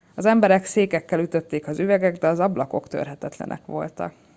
az emberek székekkel ütötték az üveget de az ablakok törhetetlenek voltak